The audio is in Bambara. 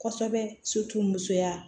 Kosɛbɛ musoya